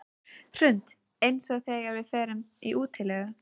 Hrund: Eins og þegar við förum í útilegu?